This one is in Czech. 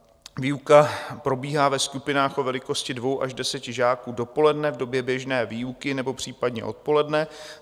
Výuka probíhá ve skupinách o velikosti dvou až deseti žáků dopoledne v době běžné výuky nebo případně odpoledne.